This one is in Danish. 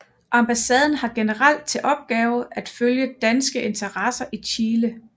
Ambassaden har generelt til opgave at følge danske interesser i Chile